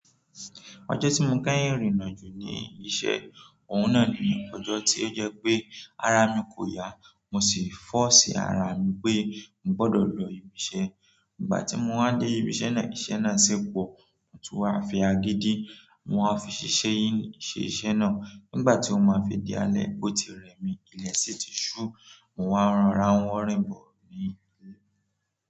Ọjọ́ tí mo kẹ́yìn rìn nà jù ní iṣẹ́, òun náà ni ọjọ́ tí ó jẹ́ pé ara mi kò yá, mo sì fọ́ṣi ara mi pé mo gbọdọ̀ lọ ibi iṣẹ́. Nígbà tí mo wá dé ibi iṣẹ́ náà, iṣẹ́ náà ṣi po, mo tún wá fi agídí, mo wá fi ṣiṣẹ́ yìí. Ṣe iṣẹ́ náà. Nígbà tí ó máa fi di alẹ́, ó ti rẹ́ mí. Ile sii ti su. Mo wa n rora wo rin bo ni ile.